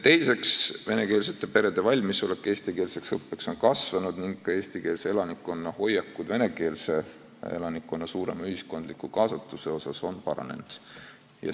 Teiseks, venekeelsete perede valmisolek eestikeelseks õppeks on kasvanud ning ka eestikeelse elanikkonna hoiakud venekeelse elanikkonna suurema ühiskondliku kaasatuse suhtes on paranenud.